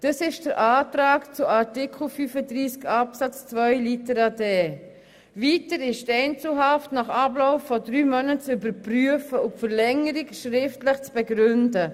Weiter ist nach unserem Antrag zu Artikel 35 Absatz 3 die Einzelhaft nach Ablauf von drei Monaten und die Verlängerung schriftlich zu begründen.